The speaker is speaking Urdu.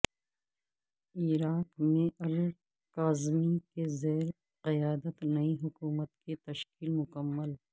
عراق میں الکاظمی کے زیر قیادت نئی حکومت کی تشکیل مکمل